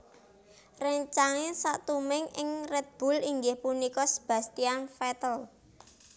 Réncang satimipun ing Red Bull inggih punika Sebastian Vettel